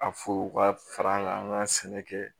A fo ka fara an ka an ka sɛnɛ kɛ